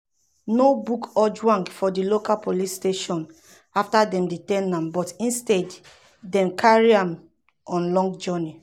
no book ojwang for di local police station um afta dem detain am but instead dem carry am on long journey.